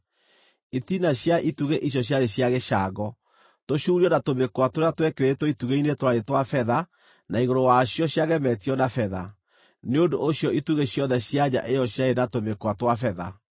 Itina cia itugĩ icio ciarĩ cia gĩcango. Tũcuurio na tũmĩkwa tũrĩa twekĩrĩtwo itugĩ-inĩ twarĩ twa betha na igũrũ wacio ciagemetio na betha; Nĩ ũndũ ũcio itugĩ ciothe cia nja ĩyo ciarĩ na tũmĩkwa twa betha.